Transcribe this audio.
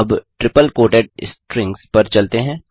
अब triple quoted strings पर चलते हैं